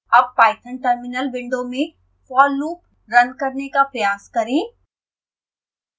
अब Python terminal window में for loop run करने का प्रयास करें